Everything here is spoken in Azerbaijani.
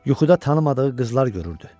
Yuxuda tanımadığı qızlar görürdü.